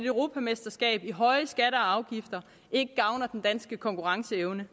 europamesterskab i høje skatter og afgifter ikke gavner den danske konkurrenceevne